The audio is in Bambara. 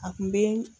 A kun be